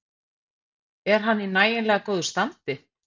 Er hann í nægilega góðu standi?